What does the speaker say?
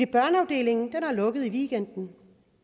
børneafdelingen har lukket i weekenden